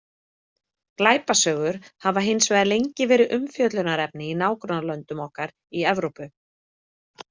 Glæpasögur hafa hins vegar lengi verið umfjöllunarefni í nágrannalöndum okkar í Evrópu.